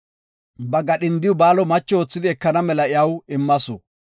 Ba gadhindiw Baalo macho oothidi ekana mela iyaw immasu.